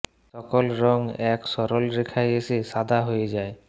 সকল রং এক সরল রেখায় এসে সাদা হয়ে যায়